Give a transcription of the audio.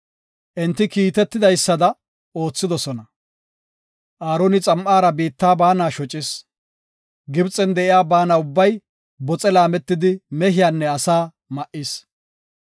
Enti kiitetidaysada oothidosona. Aaroni xam7ara biitta baana shocis. Gibxen de7iya baana ubbay boxe laametidi mehiyanne asaa ma7is.